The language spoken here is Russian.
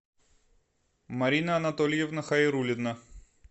марина анатольевна хайруллина